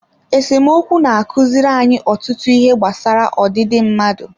Esemokwu na-akụziri anyị ọtụtụ ihe gbasara ọdịdị mmadụ